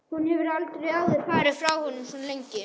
Hún hefur aldrei áður farið frá honum svona lengi.